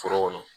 Foro kɔnɔ